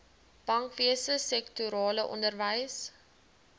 bankwese sektorale onderwys